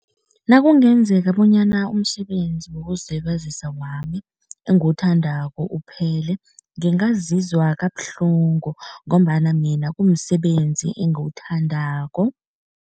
Nakungenzeka bonyana umsebenzi wokuzilibazisa wami engiwuthandako uphele, ngingazizwa kabuhlungu ngombana mina kumsebenzi engiwuthandako.